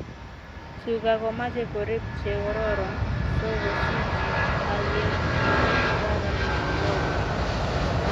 Tuga komache korik che kororon so kosich halyet ne kararan nebo porto